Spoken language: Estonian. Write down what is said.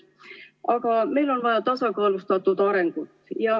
Aga meil on vaja tasakaalustatud arengut.